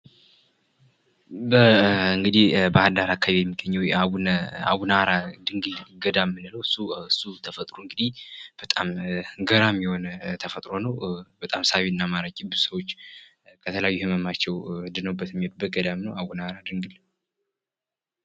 በባህርዳር አካባቢ የሚገኘዉ የአቡነ ሃራ ድንግል ገዳም የምንለዉ እሱ ተፈጥሮ እንግዲህ በጣም ገራሚ የሆነ ተፈጥሮ ነዉ። በጣም ሳቢና ማራኪ ብዙ ሰዎች ድነዉ የሚሄዱበት አቡነ ሃራ ድንግል።